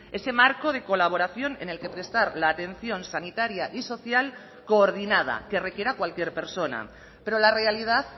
ese marco de colaboración en el que prestar la atención sanitaria y social coordinada que requiera cualquier persona pero la realidad